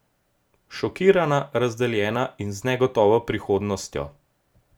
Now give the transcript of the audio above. Šokirana, razdeljena in z negotovo prihodnostjo.